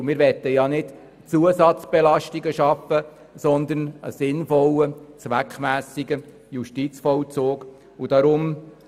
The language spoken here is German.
Und wir möchten ja keine Zusatzbelastungen, sondern einen sinnvollen und zweckmässigen Justizvollzug schaffen.